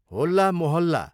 होल्ला मोहल्ला